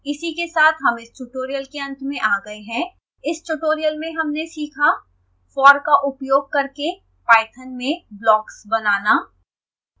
इसी के साथ हम इस tutorial के अंत में आ गए हैं